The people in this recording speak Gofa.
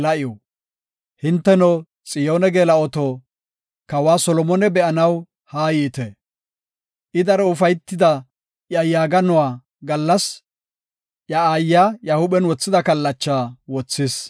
Hinteno, Xiyoone geela7oto, kawa Solomone be7anaw haayite. I daro ufaytida iya yaaganuwa gallas iya aayiya iya huuphen wothida kallacha wothis.